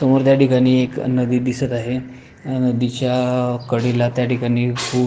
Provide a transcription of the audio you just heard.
समोर त्या ठिकाणी एक नदी दिसत आहे नदीच्या कडेला त्या ठिकाणी खूप--